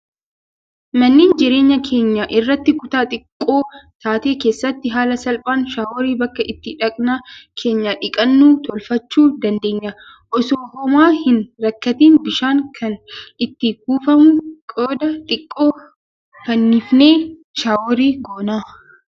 Manneen jireenyaa keenya irraa kutaa xiqqoo taate keessatti haala salphaan shaaworii bakka itti dhaqna keenya dhiqannu tolfachuu dandeenya. Osoo homaa hin rakkatiin bishaan kan itti kuufamu qodaa xiqqoo fannifnee shaaworii goona.